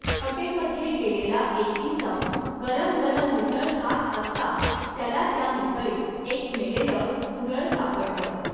हॉटेलमध्ये गेलेला एक इसम गरमगरम मिसळ खात असता त्याला त्या मिसळीत एक मेलेल झुरळ सापडल.